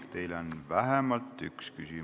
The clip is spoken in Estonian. Teile on vähemalt üks küsimus.